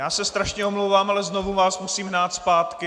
Já se strašně omlouvám, ale znovu vás musím hnát zpátky.